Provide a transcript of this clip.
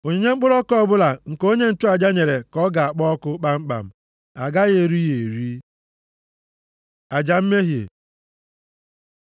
Onyinye mkpụrụ ọka ọbụla nke onye nchụaja nyere ka a ga-akpọ ọkụ kpamkpam. A gaghị eri ya eri.” Aja mmehie